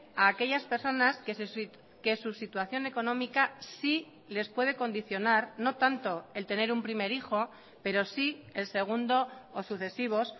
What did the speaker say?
a aquellas personas que su situación económica sí les puede condicionar no tanto el tener un primer hijo pero sí el segundo o sucesivos